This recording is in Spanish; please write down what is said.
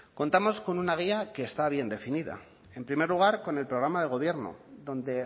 contamos con una guía que está bien definida en primer lugar con el programa de gobierno donde